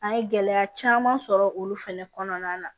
An ye gɛlɛya caman sɔrɔ olu fɛnɛ kɔnɔna na